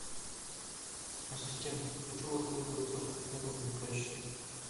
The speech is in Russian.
ассистент хочу воспользоваться услугами прачечной